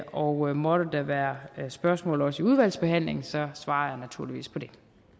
og måtte der være spørgsmål også i udvalgsbehandlingen svarer jeg naturligvis på dem